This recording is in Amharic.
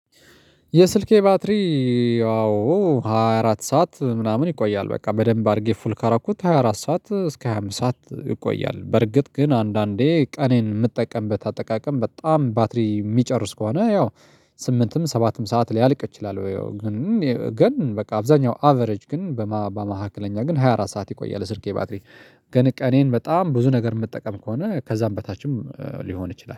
የስልኬ ባትሪ አዎ ሃያ አራት ሰዓት ምናምን ይቆያል በቃ በደንብ አድርጌ ፉል ካረኩት ሃያ አራት ሰዓት እስከ ሃያ አምስት ሰዓት ይቆያል። በርግጥ ግን አንዳንዴ ቀኔን የምጠቀምበት አጠቃቀም በጣም ባትሪ የሚጨርስ ከሆነ ያው ስምንትም ሰባትም ሰዓት ሊያልቅ ይችላል። ግን ግን በቃ አብዛኛው አቨሬጅ ግን በመካከለኛ ግን ሃያ አራት ሰዓት ይቆያል። የስልኬ ባትሪ ግን ቀኔን በጣም ብዙ ነገር የምጠቀም ከሆነ ከዛም በታችም ሊሆን ይችላል